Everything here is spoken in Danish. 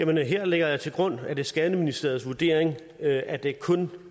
her lægger jeg til grund at det er skatteministeriets vurdering at der kun